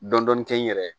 Dɔndɔni kɛ n yɛrɛ ye